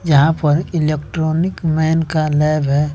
यहां पर electronic man का लैब है।